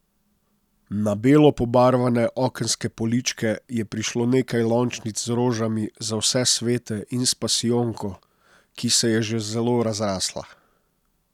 Na belo pobarvane okenske poličke je prišlo nekaj lončnic z rožami za vse svete in s pasijonko, ki se je že zelo razrasla.